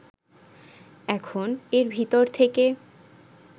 এখন এর ভিতর থেকে